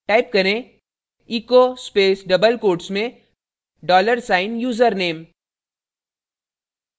type करें echo space double quotes में dollar sign username username